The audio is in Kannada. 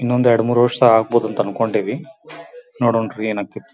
ಇನ್ನೊಂದು ಎರಡು ಮೂರು ವರ್ಷ ಆಗಬಹುದು ಅಂತ ಅಂನ್ಕೊಂಡಿವಿ ನೋಡಾಣ್ಣ್ ರಿ ಏನ್ ಆಕತ್ತಿ.